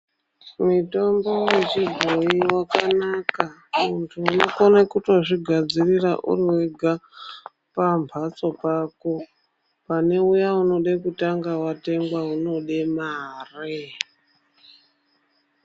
Mitombo yechibhoyi yakanaka, muntu unokone kutozvigadzirira uri wega pambatso pako pane uya unode kutanga watengwa unode mari.